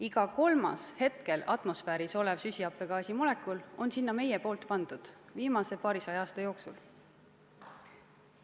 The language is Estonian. Iga kolmas hetkel atmosfääris olev süsihappegaasi molekul on sinna meie pandud viimase paarisaja aasta jooksul.